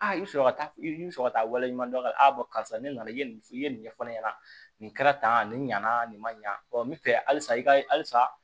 Aa i bɛ sɔrɔ ka taa i bɛ sɔrɔ ka taa wale ɲuman dɔn a la karisa ne nana i ye nin i ye nin ɲɛfɔ ne ɲɛna nin kɛra tan nin ɲɛna nin ma ɲa ɔ n bɛ fɛ halisa i ka halisa